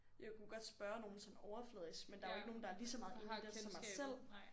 Jeg kunne godt spørge nogen sådan overfladisk men der var jo ikke nogen der var lige så meget inde i det som mig selv